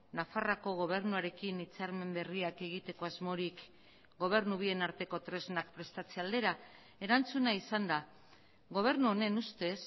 nafarroako gobernuarekin hitzarmen berriak egiteko asmorik gobernu bien arteko tresnak prestatze aldera erantzuna izan da gobernu honen ustez